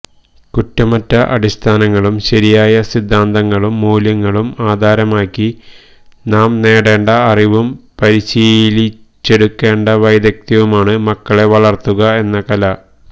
കുറ്റമറ്റ അടിസ്ഥാനങ്ങളും ശരിയായ സിദ്ധാന്തങ്ങളും മൂല്യങ്ങളും ആധാരമാക്കി നാം നേടേണ്ട അറിവും പരിശീലിച്ചെടുക്കേണ്ട വൈദഗ്ധ്യവുമാണ് മക്കളെ വളര്ത്തുക എന്ന കല